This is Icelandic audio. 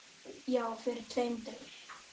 Já, fyrir tveim dögum.